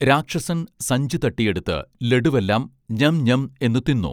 രാക്ഷസൻ സഞ്ചി തട്ടിയെടുത്ത് ലഡുവെല്ലം ഞ്ഞം ഞ്ഞം എന്നു തിന്നു